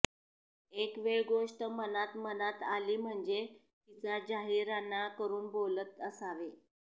येक वेळ गोष्ट मनांत मनांत आली ह्मणजे तिचा जाहिराणा करून बोलत असावें